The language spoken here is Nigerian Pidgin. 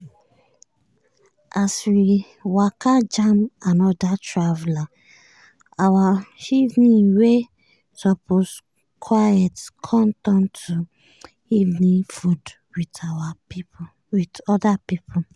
as we waka jam anoda traveller our evening wey supose quiet com turn to evening food with other pipo.